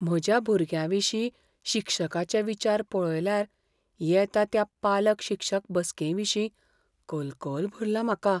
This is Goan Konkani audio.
म्हज्या भुरग्याविशीं शिक्षकाचे विचार पळयल्यार येता त्या पालक शिक्षक बसकेविशीं कलकल भरला म्हाका.